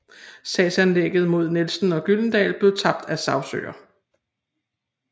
Sagsanlægget mod Nielsen og Gyldendal blev tabt af sagsøger